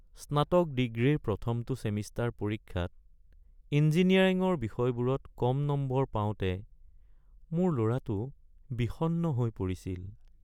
স্নাতক ডিগ্ৰীৰ প্ৰথমটো ছেমিষ্টাৰ পৰীক্ষাত ইঞ্জিনিয়াৰিঙৰ বিষয়বোৰত কম নম্বৰ পাওঁতে মোৰ ল'ৰাটো বিষণ্ণ হৈ পৰিছিল।